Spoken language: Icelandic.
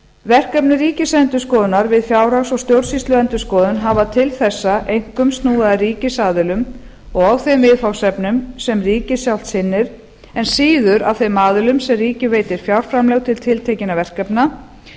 verkefni ríkisendurskoðunar við fjárhags og stjórnsýsluendurskoðun hafa til þessa einkum snúið að ríkisaðilum og þeim viðfangsefnum sem ríkið sjálft sinnir en síður að þeim aðilum sem ríkið veitir fjárframlög til tiltekinna verkefna